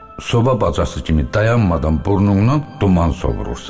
Soba bacası kimi dayanmadan burnundan duman sovurursan.